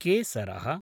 केसरः